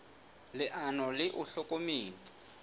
leano le ona o hlokometse